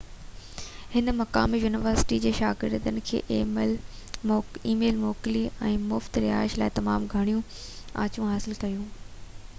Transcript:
هن مقامي يونيورسٽي جي شاگردن کي اِي ميل موڪلي ۽ مُفت رهائش لاءِ تمام گهڻيون آڇُون حاصل ڪيون